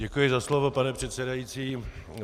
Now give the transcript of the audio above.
Děkuji za slovo, pane předsedající.